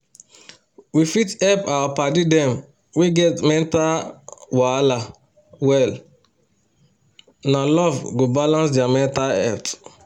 we fit hep our paddy dem wey get mental wahala well na love go balance dia mental health